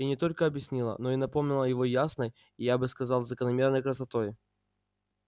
и не только объяснила но и напомнила его ясной и я бы сказал закономерной красотой